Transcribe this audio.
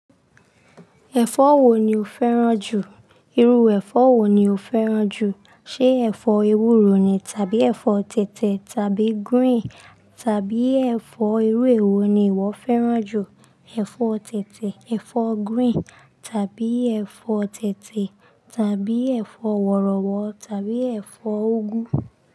Ẹ̀fọ́ wo ni o fẹ́ràn jù? Iru ẹfọ wo ni o fẹ́ràn jù? Ṣe ẹ̀fọ́ ewúro ni tàbí ẹ̀fọ́ tètè tàbí green tàbí ẹ̀fọ́ irú èwo ni ìwọ fẹ́ràn jù, ẹ̀fọ́ tètè, ẹ̀fọ́ green tàbí ẹ̀fọ́ tètè tàbí ẹ̀fọ́ wọ̀rọ̀wọ̀ tàbí ẹ̀fọ́ úgú?